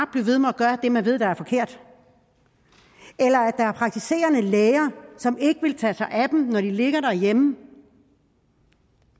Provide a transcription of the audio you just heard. blive ved med at gøre det man ved er forkert eller at der er praktiserende læger som ikke vil tage sig af dem når de ligger derhjemme